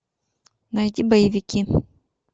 найти боевики